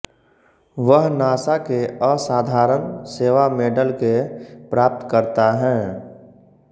वह नासा के असाधारण सेवा मेडल के प्राप्तकर्ता हैं